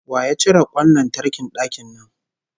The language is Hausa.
Wa ya cire kwan lantarkin dakin nan?